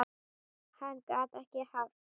Hann gat ekki haft